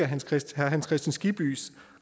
hans kristian skibby